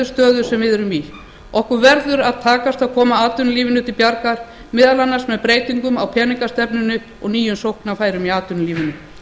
stöðu sem við erum í okkur verður að takast að koma atvinnulífinu til bjargar meðal annars með breytingu á peningastefnunni og nýjum sóknarfærum í atvinnulífinu